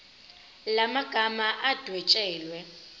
la magama adwetshelwe